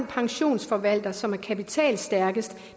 pensionsforvalter som er kapitalstærkest